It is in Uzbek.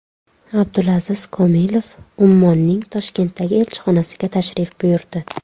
Abdulaziz Komilov Ummonning Toshkentdagi elchixonasiga tashrif buyurdi.